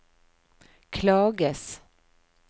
klages